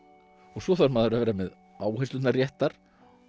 svo þarf maður að vera með áherslurnar réttar